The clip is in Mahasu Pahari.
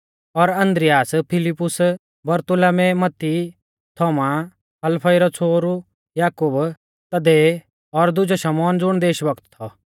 और आन्द्रियास फिलिप्पुस बरतुलमै मत्ती थोमा हलफई रौ छ़ोहरु याकूब तद्दै और दुजौ शमौन ज़ुण देशभक्त थौ